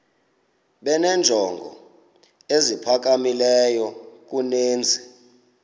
benenjongo eziphakamileyo kunezi